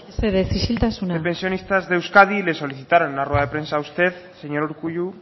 de pensionistas de euskadi le solicitaron en una rueda de prensa a usted señor urkullu